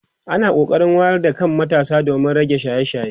ana kokarin wayar da kan matasa domin rage shaye shaye